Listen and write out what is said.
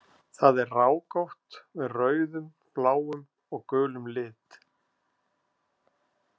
Það er rákótt með rauðum, bláum og gulum lit.